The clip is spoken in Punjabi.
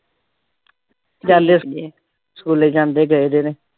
ਸਕੂਲੇ ਜਾਂਦੇ ਪਏ ਦੋਵੇਂ।